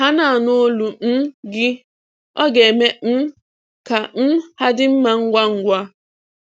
Ha na-anụ olu um gị, ọ ga-eme um ka um ha dị mma ngwa ngwa.